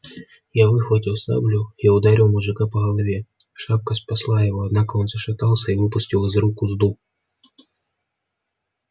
я выхватил саблю и ударил мужика по голове шапка спасла его однако он зашатался и выпустил из рук узду